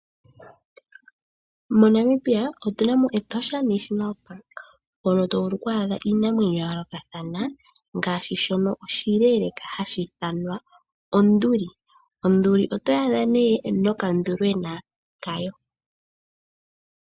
MoNamibia otuna mo Etosha National Park mono to vulu oku adha iinamwenyo yayoolokathana ngaashi shono oshileeleeka hashi ithanwa onduli. Onduli otoyi adha nee nokanduli kayo okashona.